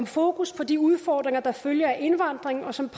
fokus på de udfordringer der følger af indvandringen og som